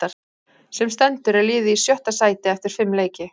Sem stendur er liðið í sjötta sæti eftir fimm leiki.